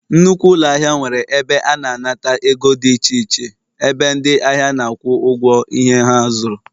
Nnukwu ụlọ ahịa nwere ebe ana anata ego dị iche iche, ebe ndị ahịa na-akwụ ụgwọ ihe ha zuru